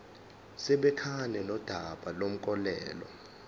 sibhekane nodaba lomklomelo